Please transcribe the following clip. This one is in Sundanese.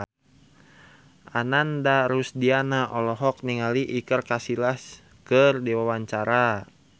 Ananda Rusdiana olohok ningali Iker Casillas keur diwawancara